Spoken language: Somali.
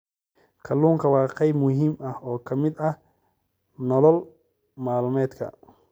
Kalluunku waa qayb muhiim ah oo ka mid ah nolol maalmeedka.